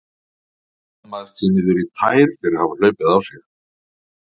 Skammast sín niður í tær fyrir að hafa hlaupið á sig.